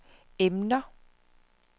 emner